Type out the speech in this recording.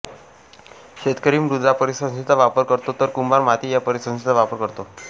शेतकरी मृदा परिसंस्थेचा वापर करतो तर कुंभार माती या परिसंस्थेचा वापर करतो